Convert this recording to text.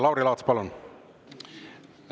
Lauri Laats, palun!